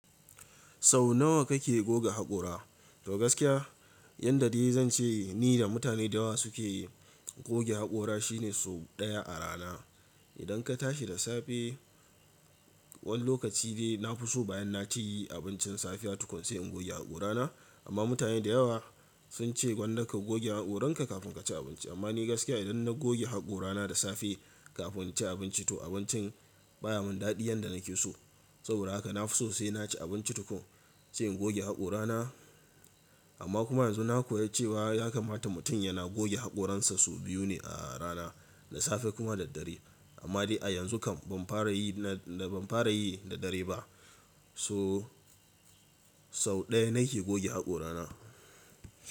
Sau nawa kake goga haƙora? To gaskiya, yadda dai zan ce ni da mutane da yawa suke goge haƙora shine sau ɗaya a rana. Idan ka tashi da safe, wani lokaci dai na fi so bayan na ci abincin safiya tukun sai in goge haƙora na. Amma mutane da yawa sun ce gwanda ka goge haƙoranka kafin ka ci abinci. Amma ni gaskiya idan na goge haƙora na da safe kafin in ci abinci to abincin baya mun daɗi yanda nake so. Saboda haka na fi sosai na ci abinci tukun, sai in goge haƙora na. Amma kuma yanzu na koya cewa ya kamata mutum yana goge haƙoransa sau biyu ne a rana, da safe kuma da dare. Amma dai a yanzu kam ban fara yi, na ban fara yi da dare ba. So sau ɗaya nake goge haƙora na.